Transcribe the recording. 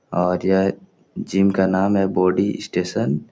और यह जिम का नाम है बॉडी स्टेशन ।